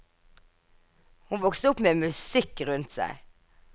Hun vokste opp med musikk rundt seg.